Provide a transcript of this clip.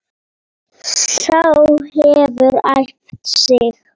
Sá hefur æft sig!